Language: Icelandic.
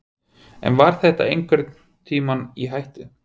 En var þetta einhvern tímann í hættu?